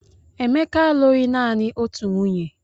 Emeka alụghị naanị otu nwunye